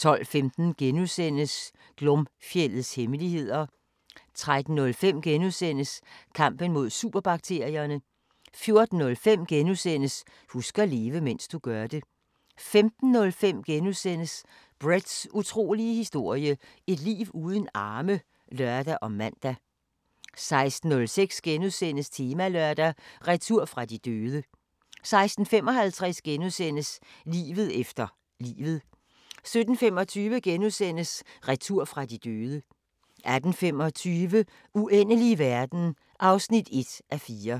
12:15: Glomfjeldets hemmeligheder * 13:05: Kampen mod superbakterierne * 14:05: Husk at leve, mens du gør det * 15:05: Bretts utrolige historie – et liv uden arme *(lør og man) 16:06: Temalørdag: Retur fra de døde * 16:55: Livet efter livet * 17:25: Retur fra de døde * 18:25: Uendelige verden (1:4)